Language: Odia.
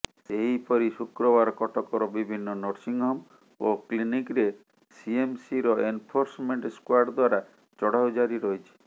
ସେହିପରି ଶୁକ୍ରବାର କଟକର ବିଭିନ୍ନ ନର୍ସିଂହୋମ ଓ କ୍ଲିନିକ୍ରେ ସିଏମ୍ସିର ଏନ୍ଫୋର୍ସମେଣ୍ଟ ସ୍କ୍ବାଡ୍ ଦ୍ବାରା ଚଢାଉ ଜାରି ରହିଛି